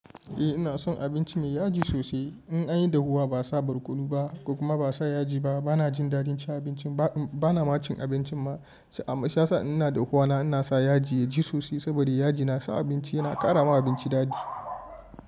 Eh ina son abinci me yaji sosai. In an yi dahuwa ba a sa barkono ba kuma ba a sa yaji ba, ba na jin dadin cin abincin ba. Ba na ma cin abincin ba. Shiyasa ina dahuwa na sa yaji ya ji sosai, saboda yaji na sa abinci yana ƙara ma abinci dadi.